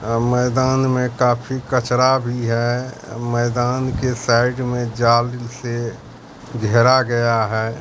अ मैदान में काफी कचरा भी है मैदान के साइड में जाल से घेरा गया है।